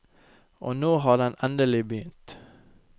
Og nå har den endelig begynt.